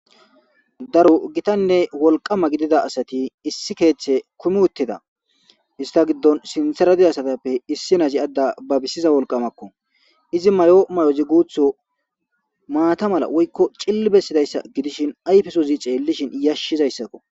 Daro gittanne wolqqama gidida asati issi keththe kuumin uuttida ista giddon sinththera diza addezi aada babisiza wolqqamakko izi mayida mayozii maata mala woykko ciillili besizayssa gidishin ayfesozii xellishin yashizayssakko